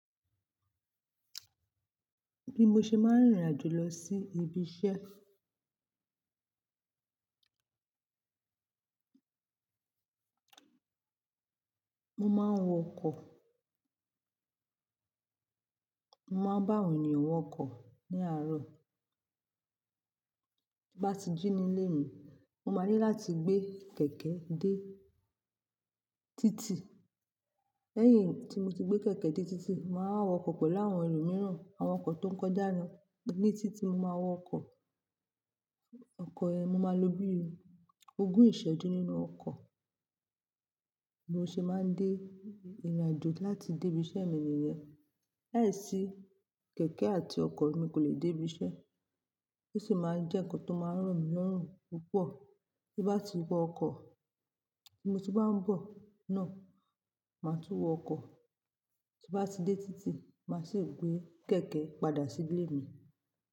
Bí mo ṣe máa ń rìn ìrìnàjò lọ sí ibi iṣẹ́. Mo máa ń wọ ọkọ̀. Mo máa ń bá àwọn ènìyàn wọ ọkọ̀ ní àárọ̀. Bí bá ti jí nílé mi, mo máa ní láti gbé kẹ̀kẹ́ dé títì. Lẹ́yìn tí mo ti gbé kẹ̀kẹ́ dé títì, màá wọ ọkọ̀ pẹ̀lú àwọn ẹlòmíràn. Àwọn ọkọ̀ tó ń kọjá ní títì mo máa wọ ọkọ̀. Ọkọ̀ yẹn mo máa lo bí ogún ìṣẹ́jú nínú ọkọ̀. Bí mo ṣe máa ń dé ìrìnàjò láti dé ibi iṣẹ́ mi nìyẹn. Láìsí kẹ̀kẹ́ àti ọkọ̀ emi kò le dé ibi iṣẹ́. Ó sì máa ń jẹ́ nǹkan tó máa ń ro mí lorún púpọ̀. Bí n bá ti wọ ọkọ̀, tí mo bá ń bọ̀ náà, màá tún wọ́ ọkọ̀. Bí bá ti dé títì, màá sì gbé kẹ̀kẹ́ padà sí ilé mi.